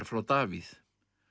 frá Davíð